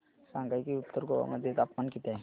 सांगा की उत्तर गोवा मध्ये तापमान किती आहे